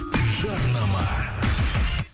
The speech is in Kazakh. жарнама